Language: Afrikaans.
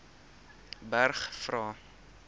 berg vra